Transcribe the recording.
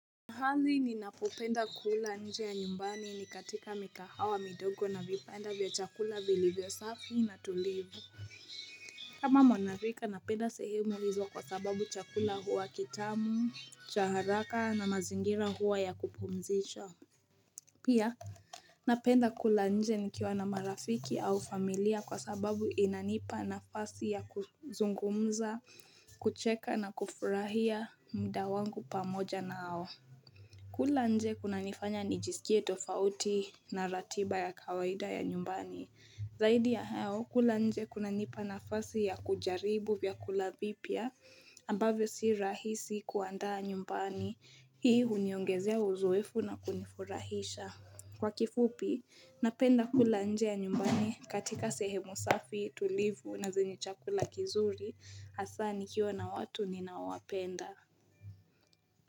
Mahali ninapopenda kula nje ya nyumbani ni katika mikahawa midogo na vipenda vya chakula vili vyo safi na tulivu. Kama monarika napenda sehemu hizo kwa sababu chakula huwa kitamu, cha haraka na mazingira huwa ya kupumzisha. Pia napenda kula nje nikiwa na marafiki au familia kwa sababu inanipa nafasi ya kuzungumza, kucheka na kufurahia mda wangu pamoja naao. Kula nje kuna nifanya ni jisikie tofauti na ratiba ya kawaida ya nyumbani. Zaidi ya hao, kula nje kuna nipa nafasi ya kujaribu vya kulavipia ambavyo si rahisi kuandaa nyumbani. Hii uniongezea uzuefu na kunifurahisha. Kwa kifupi, napenda kula nje ya nyumbani katika sehemu safi tulivu na zenye chakula kizuri hasani nikiwa na watu ninawapenda.